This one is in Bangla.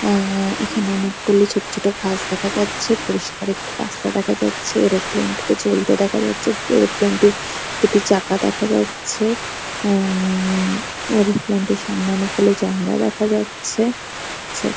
অ্যাঅ্যাঅ্যা এখানে অনেকগুলি ছোট ছোট ঘাস দেখা যাচ্ছে। পরিষ্কার একটা রাস্তা দেখা যাচ্ছে। এরোপ্লেন -টিকে চলতে দেখা যাচ্ছে। এরোপ্লেন -টির দুটি চাকা দেখা যাচ্ছে। অ্যা উমমমমম এরোপ্লেন -টির সামনে অনেকগুলো জানলা দেখা যাচ্ছে চ্ছে।